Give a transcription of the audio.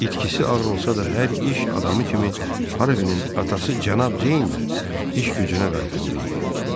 İtkisi ağır olsa da hər iş adamı kimi Harvinin atası cənab Ceyndə iş gücünə qayıtmalı idi.